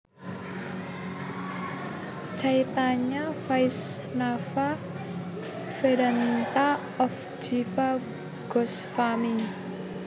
Caitanya Vaisnava Vedanta of Jiva Gosvami